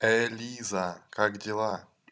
ээ лиза как дела